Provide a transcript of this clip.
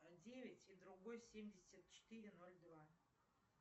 девять и другой семьдесят четыре ноль два